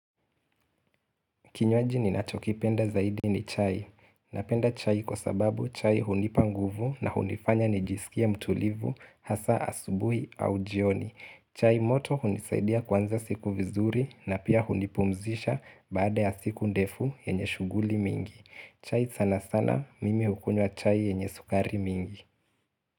Kinywaji ninachokipenda zaidi ni chai. Napenda chai kwa sababu chai hunipa nguvu na hunifanya nijisikie mtulivu hasa asubuhi au jioni. Chai moto hunisaidia kuanza siku vizuri na pia hunipumzisha baada ya siku ndefu yenye shughuli mingi. Chai sana sana mimi hukunywa chai yenye sukari mingi.